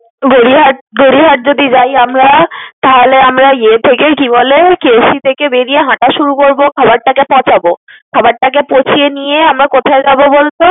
গড়িয়াহাট, গড়িয়াহাট যদি যাই আমরা। তাহলে আমরা ইয়ে থেকে, কি বলে? KFC থেকে বেরিয়ে হাঁটা শুরু করবো। খাবার টাকে পচাবো। খাবার টাকে পচিয়ে নিয়ে কোথায় যাবো বলত?